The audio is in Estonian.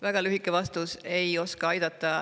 Väga lühike vastus: ei oska aidata.